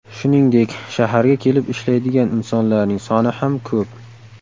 Shuningdek, shaharga kelib ishlaydigan insonlarning soni ham ko‘p.